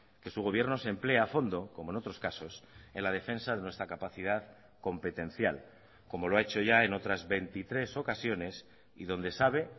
que su gobierno se emplee a fondo como en otros casos en la defensa de nuestra capacidad competencial como lo ha hecho ya en otras veintitrés ocasiones y donde sabe